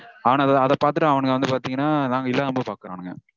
அவனுங்க அத பாத்துட்டு அவனுங்க வந்து பாத்தீங்கனா நாங்க இல்லாதபோது பாக்கறானுங்க